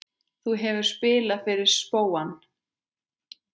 Þú hefur spilað fyrir spóann?